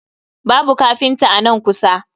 Babu kafinta a nan kusa